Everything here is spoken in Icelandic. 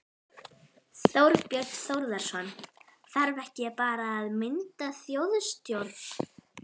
Þorbjörn Þórðarson: Þarf ekki bara að mynda þjóðstjórn?